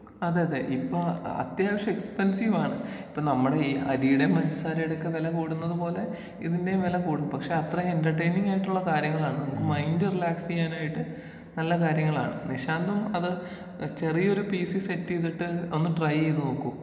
അതേ അതെ ഇപ്പോ അത്യാവശ്യം എക്സ്പ്ൻസീവാണ്. ഇപ്പൊ നമ്മടെ ഈ അരീടേം പഞ്ചസാരയുടെയൊക്കേ വെല കൂടുന്നത് പോലെ ഇതിന്റെയും വെല കൂടും പക്ഷേ അത്രയും എന്റർടൈനിങ് ആയിട്ടുള്ള കാര്യങ്ങളാണ് നമുക്ക് മൈന്റ് റിലാക്സിയ്യാനായിട്ട് നല്ല കാര്യങ്ങളാണ്. നിശാന്തും അത് ചെറിയൊരു പീ സി സെറ്റ് ചീതിട്ട് ഒന്ന് ട്രൈ ചെയ്ത് നോക്കൂ.